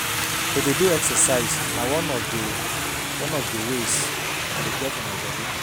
To dey do exercise na one of di of di ways I dey care for my bodi.